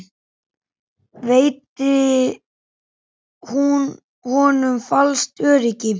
Veitti hún honum falskt öryggi?